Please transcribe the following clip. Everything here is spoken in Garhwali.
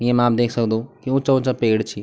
येमा आप देख सक्दो यी ऊँचा ऊँचा पेड़ छी ।